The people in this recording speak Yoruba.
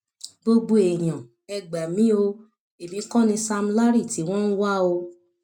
gbogbo èèyàn ẹ gbà mí o èmi kọ ni sam larry tí wọn ń wá o